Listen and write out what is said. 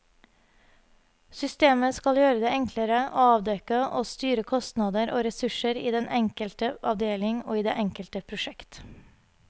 Systemet skal gjøre det enklere å avdekke og styre kostnader og ressurser i den enkelte avdeling og i det enkelte prosjekt.